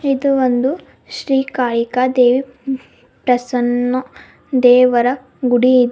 ಇದು ಒಂದು ಶ್ರೀ ಕಾಳಿಕದೇವಿ ಪ್ರಸನ್ನ ದೇವರ ಗುಡಿ ಇದೆ.